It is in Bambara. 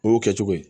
O y'o kɛ cogo ye